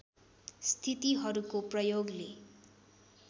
स्थितिहरूको प्रयोगले